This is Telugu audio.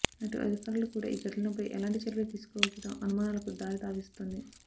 అటు అధికారులు కూడా ఈ ఘటనలపై ఎలాంటి చర్యలు తీసుకోకపోవడం అనుమానాలకు తావిస్తోంది